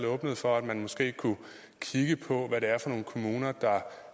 åbnede for at man måske kunne kigge på hvad det er for nogle kommuner der